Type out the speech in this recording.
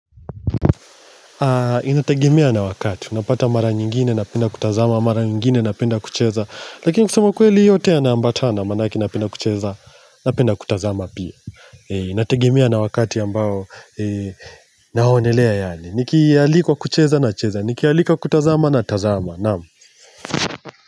Inategimea na wakati, unapata mara nyingine napenda kutazama, mara nyingine na penda kucheza Lakini kusema kweli yote yanaambatana manake napenda kucheza napenda kutazama pia Inategimia na wakati ambao naonelea yani, nikialikwa kucheza na cheza, nikialikwa kutazama na tazama, naamu.